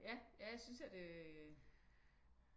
Ja jeg synes at øh